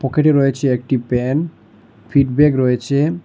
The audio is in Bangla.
পকেটে রয়েছে একটি পেন ফিড ব্যাগ রয়েচে ।